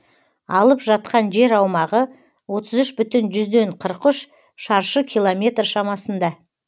алып жатқан жер аумағы отыз үш бүтін жүзден қырық үш шаршы километр шамасында